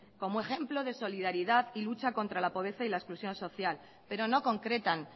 como ejemplo de solidaridad y de lucha contra la pobreza y la exclusión social pero no concretan